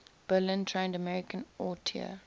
berlin trained american auteur